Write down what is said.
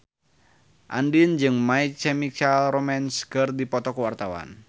Andien jeung My Chemical Romance keur dipoto ku wartawan